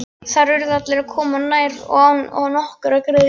Þar urðu allir að koma nærri og án nokkurrar greiðslu.